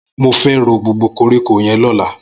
Mó fè ró gbógbó kórikó yèn lọ̀lá